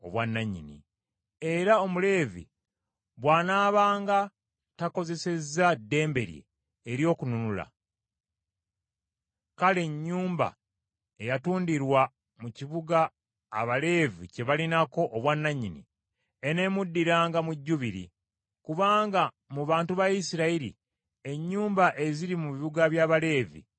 Era Omuleevi bw’anaabanga takozesezza ddembe lye ery’okununula, kale ennyumba eyatundirwa mu kibuga Abaleevi kye balinako obwannannyini, eneemuddiranga mu Jjubiri; kubanga mu bantu ba Isirayiri ennyumba eziri mu bibuga by’Abaleevi za Baleevi.